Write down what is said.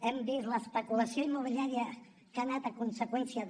hem vist l’especulació immobiliària que ha anat a conseqüència de